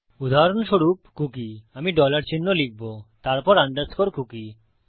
উদাহরণস্বরূপ কুকী আমি ডলার চিহ্ন লিখব তারপর আন্ডারস্কোর কুকী